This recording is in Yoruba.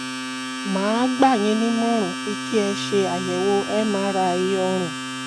màá gbà yín nímọ̀ràn pé kí ẹ ṣe àyẹ̀wò m-r-i ọrùn